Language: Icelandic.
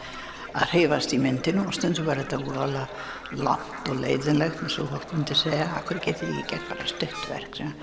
að hreyfast í myndinni og stundum var þetta voðalega langt og leiðinlegt eins og fólk myndi segja af hverju getið þið ekki gert bara stutt verk